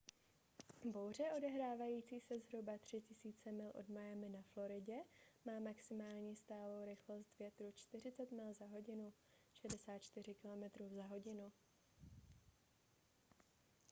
bouře odehrávající se zhruba 3 000 mil od miami na floridě má maximální stálou rychlost větru 40 mil/h 64 km/h